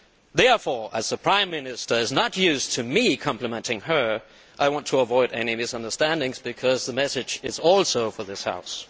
Therefore, as the Prime Minister is not used to me complimenting her, I want to avoid any misunderstandings, because the message is also for this House.